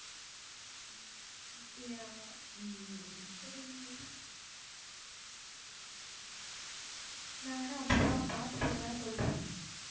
நான் வேணா அப்புறமா பாத்துட்டு வேணா சொல்றேன்